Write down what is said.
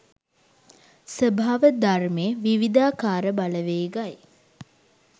ස්වභාව ධර්මයේ විවිධාකාර බලවේගයි.